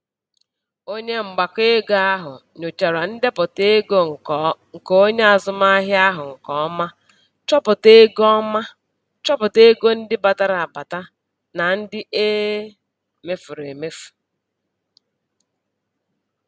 Onye mgbakọego ahụ nyochara ndepụta ego nke onye azụmahịa ahụ nke ọma, chọpụta ego ọma, chọpụta ego ndị batara abata na ndị e mefuru emefu.